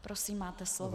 Prosím, máte slovo.